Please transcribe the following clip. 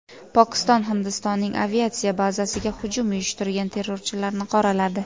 Pokiston Hindistonning aviatsiya bazasiga hujum uyushtirgan terrorchilarni qoraladi.